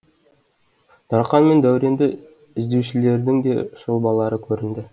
дарқан мен дәуренді іздеушілердің де сұлбалары көрінді